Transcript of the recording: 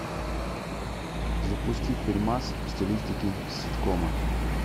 запусти фильмас в стилистике ситкома